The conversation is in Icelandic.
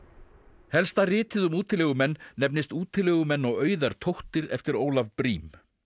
helsta ritið um útilegumenn nefnist útilegumenn og auðar eftir Ólaf Briem